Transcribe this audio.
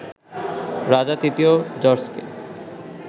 রাজা তৃতীয় জর্জকে